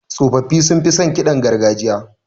Tsofaffi sunfi son ƙidan gargajiya.